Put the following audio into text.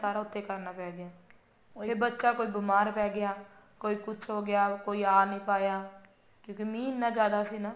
ਸਾਰਾ ਉੱਥੇ ਕਰਨਾ ਪੈਗਿਆ ਉਹੀ ਬੱਚਾ ਕੋਈ ਬੀਮਾਰ ਪੈਗਿਆ ਕਿ ਕੁਛ ਹੋਗਿਆ ਕੋਈ ਜਾ ਨੀ ਪਾਇਆ ਕਿਉਂਕਿ ਮੀਂਹ ਇੰਨਾ ਜਿਆਦਾ ਸੀ ਨਾ